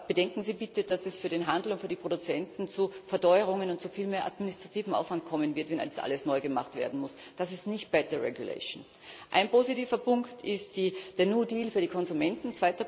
Aber bedenken Sie bitte, dass es für den Handel und für die Produzenten zu Verteuerungen und zu viel mehr administrativem Aufwand kommen wird, wenn das alles neu gemacht werden muss. Das ist nicht better regulation Ein positiver Punkt ist der new deal für die Konsumenten.